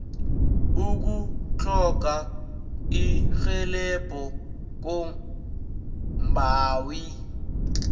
ukutlhoga irhelebho kombawi